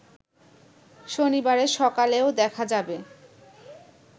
শনিবারের সকালেও দেখা যাবে